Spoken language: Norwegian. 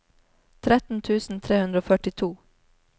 tretten tusen tre hundre og førtito